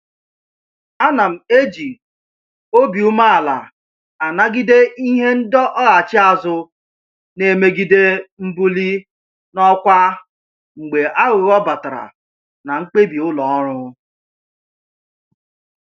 Ana m eji obi umeala anagide ihe ndọghachi azụ na-emegide mbuli n'ọkwa mgbe aghụghọ batara na mkpebi ụlọ ọrụ